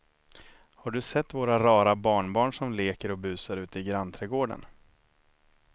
Har du sett våra rara barnbarn som leker och busar ute i grannträdgården!